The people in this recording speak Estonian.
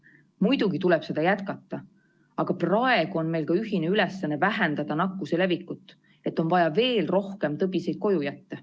Muidugi tuleb seda jätkata, aga praegu on meil ka ühine ülesanne vähendada nakkuse levikut, on vaja veel rohkem tõbiseid koju jätta.